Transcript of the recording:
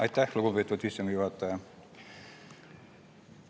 Aitäh, lugupeetud istungi juhataja!